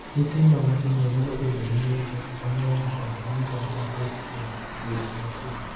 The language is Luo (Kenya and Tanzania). Nyithindo matindo nyalo bedo gi ng’injo mang’eny kod ng’injo mathoth e odiechieng’ achiel.